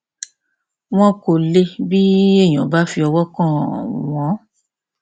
wọn kò le bí èèyàn bá fi ọwọ kàn án wọn